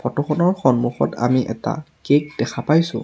Photo খনৰ সন্মুখত আমি এটা কেক দেখা পাইছোঁ।